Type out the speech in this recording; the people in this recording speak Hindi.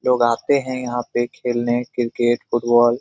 लोग आते है यहाँ पे खेलने क्रिकेट फुटबॉल .